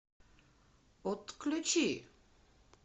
отключи